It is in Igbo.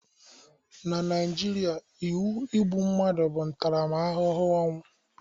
Na Naijiria, iwu igbu mmadụ bụ ntaramahụhụ ọnwụ